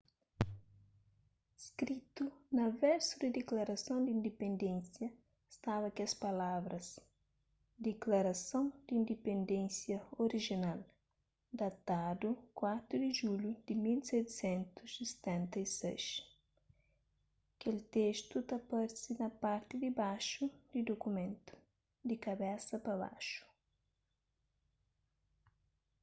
skritu na versu di diklarason di indipendénsia staba kes palavras diklarason di indipendénsia orijinal datadu 4 di julhu di 1776 kel testu ta parse na parti dibaxu di dukumentu di kabesa pa baxu